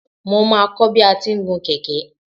Mo máa kọ́ bi a ti ń gun kẹ̀kẹ́.